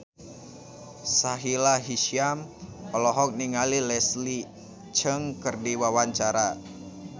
Sahila Hisyam olohok ningali Leslie Cheung keur diwawancara